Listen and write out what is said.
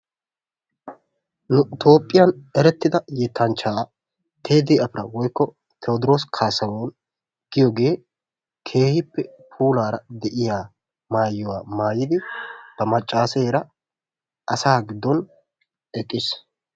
Nu toophphiyaan erettida yettanchchaa tedii apira woykko tewodiros kaasahun giyoogee keehippe puulaara de'iyaa maayuwaa maayidi ba maccaseera asaa giddon eqqis.